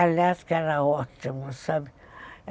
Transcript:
Aliás, que era ótimo, sabe?